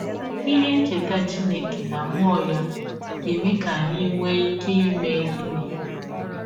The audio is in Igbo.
Ihe ncheta Chineke na mmụọ ya ga - eme ka anyị nwee ike ime gịnị?